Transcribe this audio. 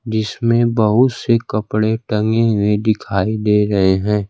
जिसमें बहुत से कपड़े टंगे हुए दिखाई दे रहे हैं।